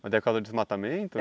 Mas é por causa do desmatamento?